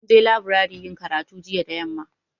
Mun je leburare yin karatu jiya da yamma